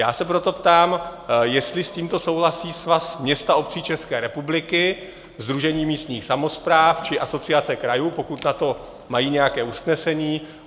Já se proto ptám, jestli s tímto souhlasí Svaz měst a obcí České republiky, Sdružení místních samospráv či Asociace krajů, pokud na to mají nějaké usnesení.